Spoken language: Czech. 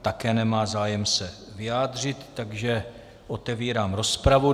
Také nemá zájem se vyjádřit, takže otevírám rozpravu.